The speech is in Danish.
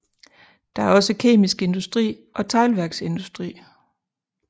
Der er også kemisk industri og teglværksindustri